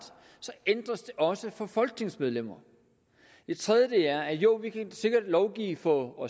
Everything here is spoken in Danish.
ændres den også for folketingsmedlemmer det tredje er jo vi kan sikkert lovgive for